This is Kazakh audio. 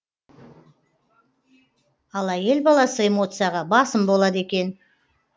ал әйел баласы эмоцияға басым болады екен